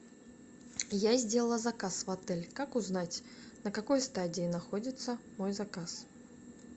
я сделала заказ в отеле как узнать на какой стадии находится мой заказ